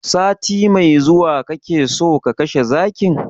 Sati mai zuwa kake so ka kashe zakin?